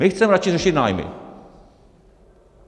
My chceme radši řešit nájmy.